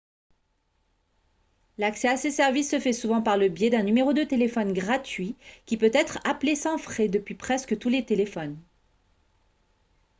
l'accès à ces services se fait souvent par le biais d'un numéro de téléphone gratuit qui peut être appelé sans frais depuis presque tous les téléphones